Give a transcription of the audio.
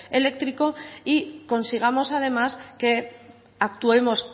eléctrico y consigamos además que actuemos